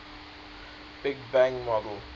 big bang model